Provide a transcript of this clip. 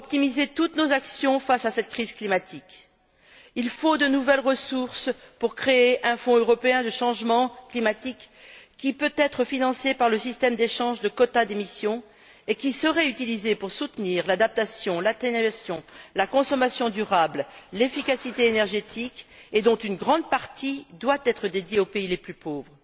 Pour optimiser toutes nos actions face à cette crise climatique, il faut de nouvelles ressources pour créer un Fonds européen sur le changement climatique qui pourra être financé par le système d'échange de quotas d'émission et qui sera utilisé pour soutenir l'adaptation, l'atténuation, la consommation durable, l'efficacité énergétique, et dont une grande partie doit être consacrée aux pays les plus pauvres.